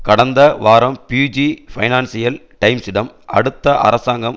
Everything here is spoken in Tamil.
கடந்த வாரம் ப்யூஜி பைனான்சியல் டைம்ஸிடம் அடுத்த அரசாங்கம்